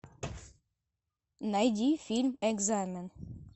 найди фильм экзамен